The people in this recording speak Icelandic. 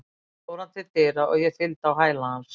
Loks fór hann til dyra og ég fylgdi á hæla hans.